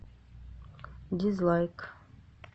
дизлайк